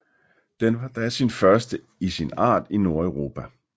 Den var da den første i sin art i Nordeuropa